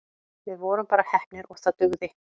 Við vorum bara heppnir og það dugði.